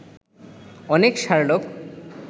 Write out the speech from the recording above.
অনেক শার্লক